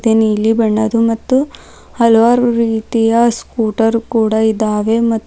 ನೀಲಿ ಬಣ್ಣದು ಮತ್ತು ಹಲವಾರು ರೀತಿಯ ಸ್ಕೂಟರ್ ಕೂಡ ಇದಾವೆ ಮತ್ತು--